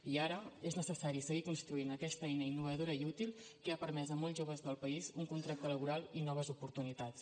i ara és necessari seguir construint aquesta eina innovadora i útil que ha permès a molts joves del país un contracte laboral i noves oportunitats